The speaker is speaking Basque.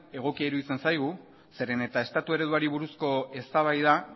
egokia iruditzen zaigu zeren eta estatu ereduari buruzko eztabaida